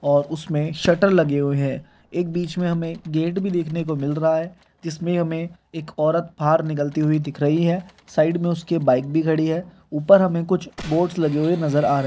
और उसमें शटर लगे हुए हैं एक बीच में हमें गेट भी देखने को मिल रहा है जिसमें हमें एक औरत बाहर निकलती हुई दिख रही है साइड में उसके बाइक भी खड़ी है ऊपर हमें कुछ बोर्ड्स लगे हुए नजर आ रहे --